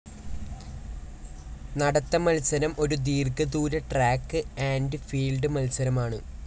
നടത്ത മത്സരം ഒരു ദീർഘ ദൂര ട്രാക്ക്‌ ആൻഡ്‌ ഫീൽഡ്‌ മത്സരമാണ്.